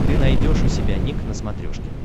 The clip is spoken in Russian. ты найдешь у себя ник на смотрешке